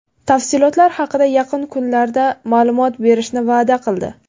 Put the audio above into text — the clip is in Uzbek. Tafsilotlar haqida yaqin kunlarda ma’lumot berishni va’da qildi.